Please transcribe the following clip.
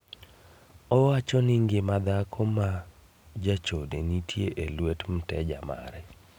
Owacho ni ngima dhako ma jachode nitie e lwet mteja mare.